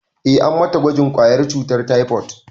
Eh, an mata gwajin ƙwayar cutar taifot